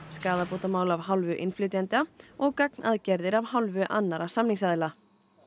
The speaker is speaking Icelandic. skaðabótamál af hálfu innflytjenda og gagnaðgerðir af hálfu annarra samningsaðila